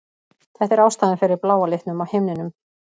Þetta er ástæðan fyrir bláa litnum á himninum.